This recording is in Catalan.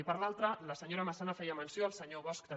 i per l’altra la senyora massana feia menció el se·nyor bosch també